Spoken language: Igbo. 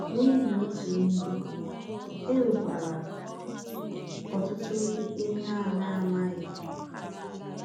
N’ihi otu ihe, e nwekwara ọtụtụ ihe a na-amaghị.